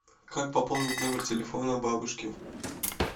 как пополнить номер телефона бабушки